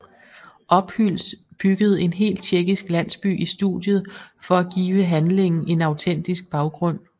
Ophüls byggede en hel tjekkisk landsby i studiet for at give handlingen en autentisk baggrund